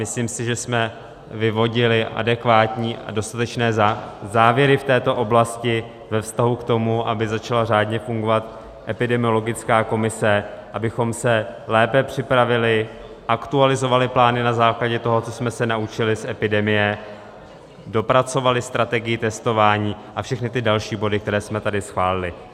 Myslím si, že jsme vyvodili adekvátní a dostatečné závěry v této oblasti ve vztahu k tomu, aby začala řádně fungovat epidemiologická komise, abychom se lépe připravili, aktualizovali plány na základě toho, co jsme se naučili z epidemie, dopracovali strategii testování a všechny ty další body, které jsme tady schválili.